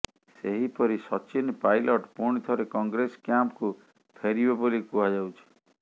ସେହିପରି ସଚିନ ପାଇଲଟ ପୁଣିଥରେ କଂଗ୍ରେସ କ୍ୟାମ୍ପକୁ ଫେରିବେ ବୋଲି କୁହାଯାଉଛି